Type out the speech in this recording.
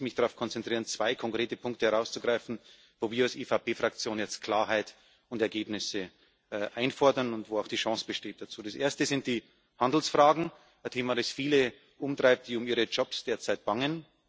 Deswegen möchte ich mich darauf konzentrieren, zwei konkrete Punkte herauszugreifen, wo wir als EVP Fraktion jetzt Klarheit und Ergebnisse einfordern und wo auch die Chance dazu besteht Das erste sind die Handelsfragen ein Thema, das viele umtreibt, die derzeit um ihre Jobs bangen.